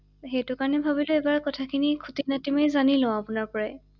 সেইটো কাৰণে ভাবিলো এবাৰ কখাখিনি খুটী নাটী মাৰি লওঁ জানি লওঁ আপোনাৰ পৰাই ৷